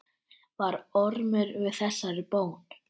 Varð Ormur við þessari bón.